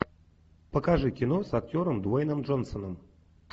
покажи кино с актером дуэйном джонсоном